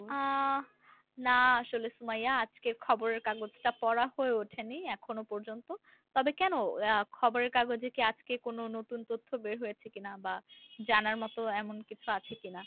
আহ না আসলে সুমাইয়া আজকে খবরের কাগজ টা পড়া হয়ে উঠেনি এখনো পর্যন্ত তবে কেন আহ খবরের কাগজে কি আজকে কোন নতুন তথ্য বের হয়েছে কিনা বা জানার মতো এমন কিছু আছে কিনা?